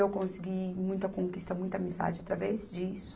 Eu consegui muita conquista, muita amizade através disso.